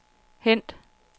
hent